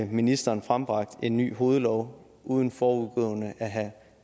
ministeren frembragt en ny hovedlov uden forudgående at have